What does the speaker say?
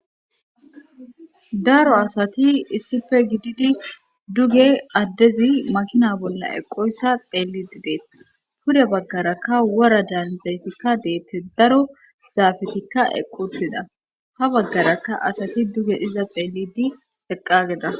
daro asati issife gididi duge addezi makina bolla eqoyssa xeellidi deet pure baggarakka wora daanzaytikka deette daro zaafetikka equtida ha baggarakka asati duge iza xeellidi eqqageda